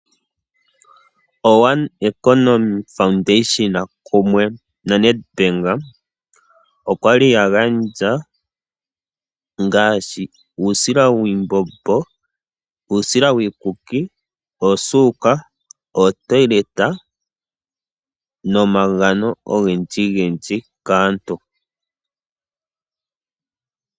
Ehangano lyoOne Economy opamwe noNedbank oya li ya gandja omagano ngaashi uusila wiimbobo nowiikuki, oosuuka, oombapila dhokokandjugo, nomagano galwe kaakwashigwana.